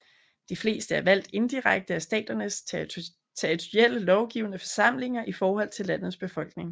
De fleste er valgt indirekte af staternes og territorielle lovgivende forsamlinger i forhold til landets befolkning